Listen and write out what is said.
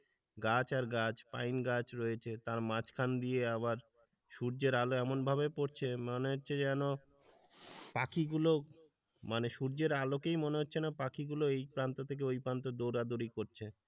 গাছ আর গাছ পাইন গাছ রয়েছে তার মাঝখান দিয়ে আবার সূর্যের আলো এমনভাবে পড়ছে মনে হচ্ছে যেন পাখিগুলো মানে সূর্যের আলোকেই মনে হচ্ছে না পাখি গুলো এই প্রান্ত থেকে ওই প্রান্তে দৌড়াদৌড়ি করছে।